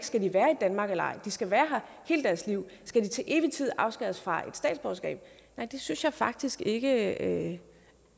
skal være i danmark eller ej de skal være her hele deres liv skal de til evig tid afskæres fra et statsborgerskab nej det synes jeg faktisk ikke